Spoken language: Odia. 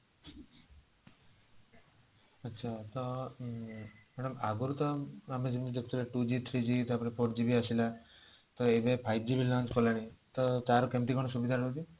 ଆଚ୍ଛା madam ଆଗରୁ ତ ଆମେ ଯେମିତି ଦେଖୁଥିଲେ two g three g ତାପରେ four g ବି ଆସିଲା ଆଉ ଏବେ five g ବି launch କଲାଣି ତ ତାହାର କେମିତି କଣ ସୁବିଧା ରହୁଛି